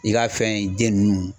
I ka fɛn den nunnu